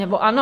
Nebo ano?